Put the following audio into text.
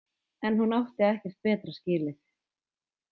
En hún átti ekkert betra skilið.